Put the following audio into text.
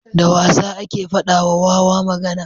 da wasa ake fada wa wawa magana